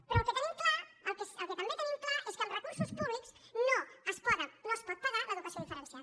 però el que tenim clar el que també tenim clar és que amb recursos públics no es pot pagar l’educació diferenciada